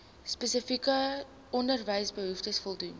spesifieke onderwysbehoeftes voldoen